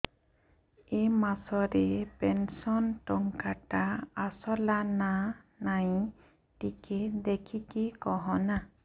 ଏ ମାସ ରେ ପେନସନ ଟଙ୍କା ଟା ଆସଲା ନା ନାଇଁ ଟିକେ ଦେଖିକି କହନା